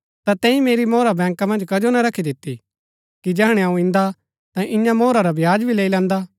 ता तैंई मेरी मोहरा बैंका मन्ज कजो ना रखी दिती कि जैहणै अऊँ इन्दा ता इआं मोहरा रा ब्याज भी लैई लैंदा